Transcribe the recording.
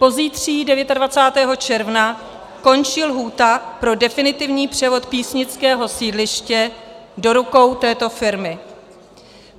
Pozítří, 29. června, končí lhůta pro definitivní převod písnického sídliště do rukou této firmy.